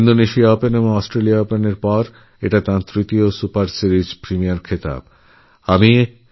Indonesian Open ও Australian ওপেনএর পর এটা ওঁর তৃতীয় সুপার সিরিজ খেতাব জয়